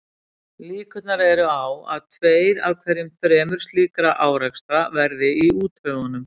Líkur eru á að um tveir af hverju þremur slíkra árekstra verði í úthöfunum.